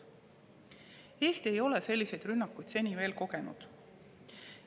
Eesti ei ole selliseid rünnakuid seni veel kogenud.